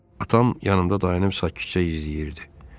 Atam yanımda dayanıb sakitcə izləyirdi.